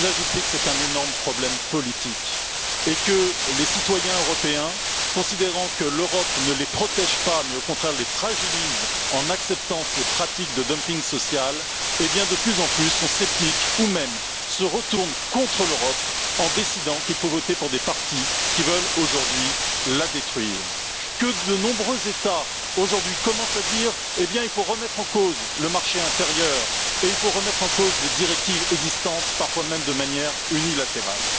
J'ajouterais que c'est un énorme problème politique et que les citoyens européens, considérant que l'Europe ne les protège pas mais, au contraire, les fragilise en acceptant ces pratiques de dumping social, sont de plus en plus sceptiques ou même se retournent contre l'Europe en décidant qu'il faut voter pour des partis qui veulent aujourd'hui la détruire, que de nombreux États aujourd'hui commencent à dire qu'il faut remettre en cause le marché intérieur et remettre en cause les directives existantes, parfois même de manière unilatérale.